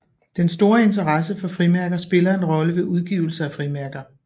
Den store interesse for frimærker spiller en rolle ved udgivelse af frimærker